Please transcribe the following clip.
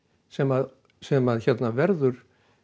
sem sem verður